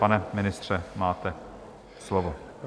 Pane ministře, máte slovo.